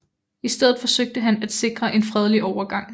I stedet forsøgte han at sikre en fredelig overgang